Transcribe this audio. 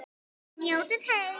Njótið heil!